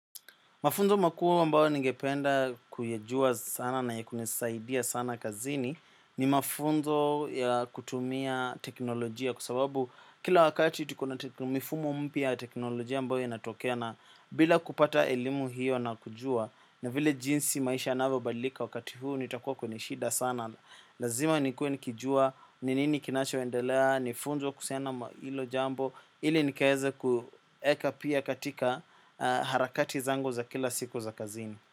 Mafunzo makuu ambayo ningependa kuyajua sana na ya kunisaidia sana kazini ni mafunzo ya kutumia teknolojia kwa sababu kila wakati tuko na mifumo mpya ya teknolojia ambayo inatokea na bila kupata elimu hiyo na kujua. Na vile jinsi maisha yanavyobadilika wakati huu nitakuwa kwenye shida sana. Lazima nikue nikijua, ni nini kinacho endelea, nifunze kuhusiana na hilo jambo. Ili nikaweze kueka pia katika harakati zangu za kila siku za kazini.